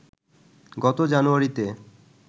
গত জানুয়ারিতে